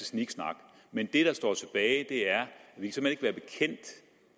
sniksnak men det der står tilbage er